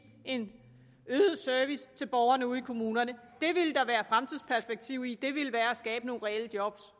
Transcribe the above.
en øget service til borgerne ude i kommunerne det ville der være fremtidsperspektiv i det ville være at skabe nogle reelle job